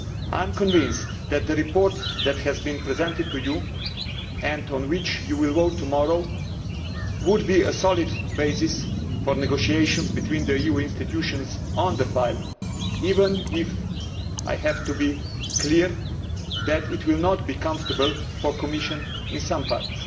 I am convinced that the report that has been presented to you and on which you will vote tomorrow would be a solid basis for negotiations between the EU institutions on the file, even if I have to be clear that it will not be comfortable for the Commission in some parts.